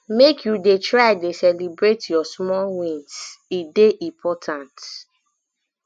make you dey try dey celebrate your small wins e dey important